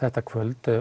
þetta kvöld